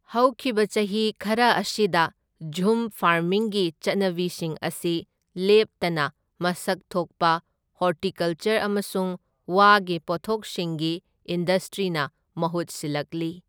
ꯍꯧꯈꯤꯕ ꯆꯍꯤ ꯈꯔ ꯑꯁꯤꯗ, ꯓꯨꯝ ꯐꯥꯔꯃꯤꯡꯒꯤ ꯆꯠꯅꯕꯤꯁꯤꯡ ꯑꯁꯤ ꯂꯦꯞꯇꯅ ꯃꯁꯛ ꯊꯣꯛꯄ ꯍꯣꯔꯇꯤꯀꯜꯆꯔ ꯑꯃꯁꯨꯡ ꯋꯥꯒꯤ ꯄꯣꯠꯊꯣꯛꯁꯤꯡꯒꯤ ꯏꯟꯗꯁꯇ꯭ꯔꯤꯅ ꯃꯍꯨꯠ ꯁꯤꯜꯂꯛꯂꯤ꯫